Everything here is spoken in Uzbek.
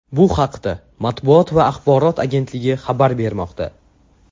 Bu haqda Matbuot va axborot agentligi xabar bermoqda .